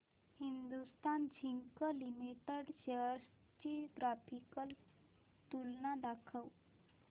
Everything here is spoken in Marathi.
हिंदुस्थान झिंक लिमिटेड शेअर्स ची ग्राफिकल तुलना दाखव